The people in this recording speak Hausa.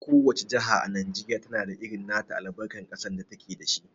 Ko wace jaha a Najeriya na da irin nata albarkar ƙasar da ta ke da shi.